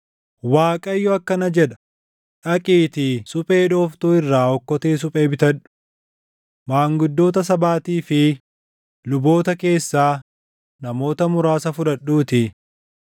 Waaqayyo akkana jedha; “Dhaqiitii suphee dhooftuu irraa okkotee suphee bitadhu. Maanguddoota sabaatii fi luboota keessaa namoota muraasa fudhadhuutii,